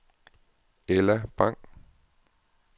Ella Bang